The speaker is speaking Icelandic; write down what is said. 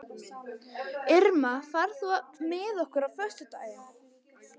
Irma, ferð þú með okkur á föstudaginn?